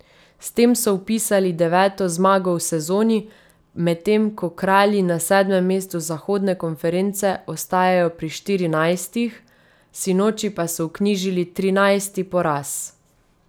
S tem so vpisali deveto zmago v sezoni, medtem ko Kralji na sedmem mestu zahodne konference ostajajo pri štirinajstih, sinoči pa so vknjižili trinajsti poraz.